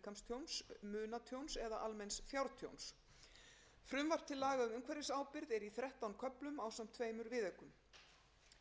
umhverfisábyrgð er í þrettán köflum ásamt tveimur viðaukum